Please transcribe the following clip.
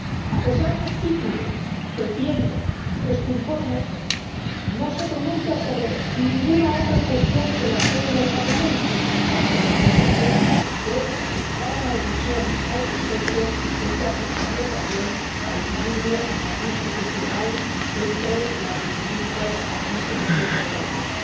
A pesar del título que tiene este informe, no se pronuncia sobre ninguna otra cuestión que no sea la sede del Parlamento, aunque reconoce que, si se tomara una decisión al respecto, esto afectaría también al equilibrio entre las distintas instituciones de la Unión.